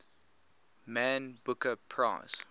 man booker prize